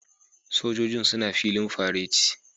Sojojin suna filin fareti